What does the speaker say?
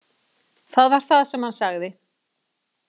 Það var það sem hann sagði.